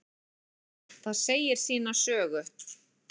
Það segir sína sögu.